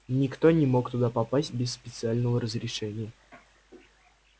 никто не мог туда попасть без специального разрешения